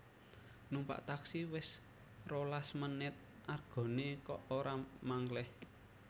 Numpak taksi wes rolas menit argone kok ora mangklih